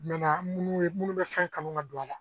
minnu ye munnu bɛ fɛn kanu ka don a la